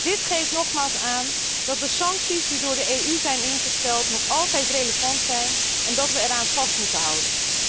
Dit geeft nogmaals aan dat de sancties die door de EU zijn ingesteld, nog altijd relevant zijn en dat wij eraan vast moeten houden.